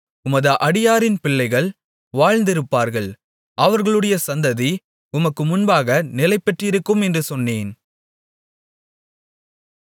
உமது அடியாரின் பிள்ளைகள் வாழ்ந்திருப்பார்கள் அவர்களுடைய சந்ததி உமக்கு முன்பாக நிலைபெற்றிருக்கும் என்று சொன்னேன்